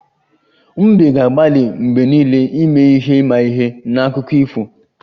Mbe ga-agbalị mgbe niile ime ihe imaihe na akụkọ ifo